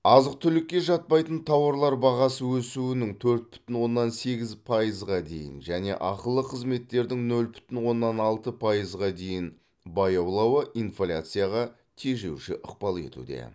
азық түлікке жатпайтын тауарлар бағасы өсуінің төрт бүтін оннан сегіз пайызға дейін және ақылы қызметтердің нөл бүтін оннан алты пайызға дейін баяулауы инфляцияға тежеуші ықпал етуде